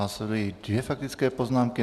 Následují dvě faktické poznámky.